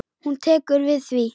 Hún tekur við því.